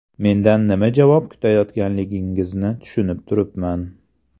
Mendan nima javob kutayotganligingizni tushunib turibman.